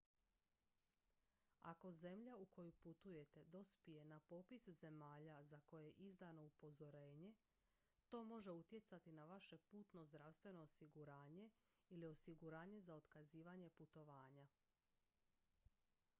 ako zemlja u koju putujete dospije na popis zemalja za koje je izdano upozorenje to može utjecati na vaše putno zdravstveno osiguranje ili osiguranje za otkazivanje putovanja